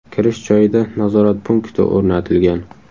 Kirish joyida nazorat punkti o‘rnatilgan.